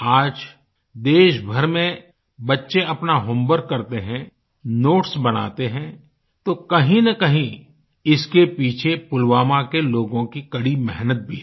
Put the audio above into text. आज देशभर में बच्चे अपना होम वर्क करते हैं नोट्स बनाते हैं तो कहींनकहीं इसके पीछे पुलवामा के लोगों की कड़ी मेहनत भी है